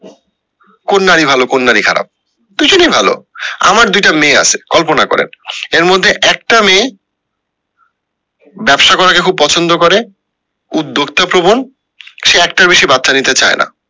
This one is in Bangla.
কোন নারী ভালো কোন নারী খারাপ দুজনেই ভালো আমার দুইটা মেয়ে আসে কল্পনা করেন এর মধ্যে একটা মেয়ে ব্যাবসা করা কে খুব পছন্দ করে উদ্যোক্তা প্রবন সে একটার বেশি বাচ্চা নিতে চায় না